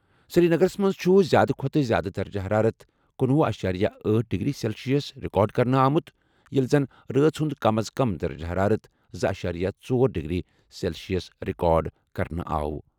سری نگرَس منٛز چھُ زِیٛادٕ کھۄتہٕ زِیٛادٕ درجہٕ حرارت کنھوہُ اَشیریہِ أٹھ ڈگری سیلسیس رِکارڈ کرنہٕ آمُت ییٚلہِ زن رٲژ ہُنٛد کم از کم درجہٕ حرارت زٕ اَشیریہ ژۄر ڈگری سیلسیس رِکارڈ کرنہٕ آمُت۔